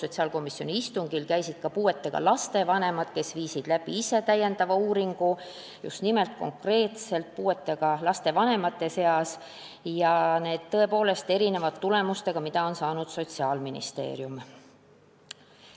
Sotsiaalkomisjoni istungil käisid ka puuetega laste vanemad, kes tegid ise uuringu – just nimelt konkreetselt puuetega laste vanemate seas – ja see tõepoolest erineb tulemustest, mida on saanud Sotsiaalministeerium.